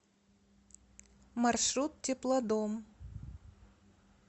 маршрут теплодом